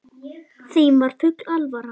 Þeim var full alvara.